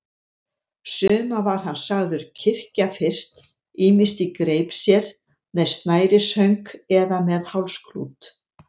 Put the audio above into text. Suma var hann sagður kyrkja fyrst, ýmist í greip sér, með snærishönk eða með hálsklút.